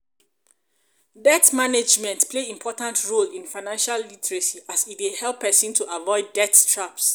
debt management management play important role in financial literacy as e dey help pesin to avoid debt traps.